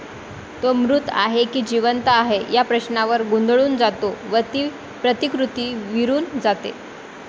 तो मृत आहे की जीवंत आहे या प्रश्नावर गोंधळून जातो व ती प्रतिकृती विरुन जाते.